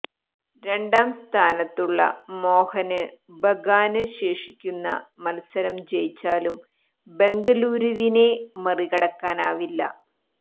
രണ്ടാം സ്ഥാനത്തുള്ള മോഹന് ബഗാന് ശേഷിക്കുന്ന മത്സരം ജയിച്ചാലും ബംഗലൂരുവിനെ മറികടക്കാനാവില്ല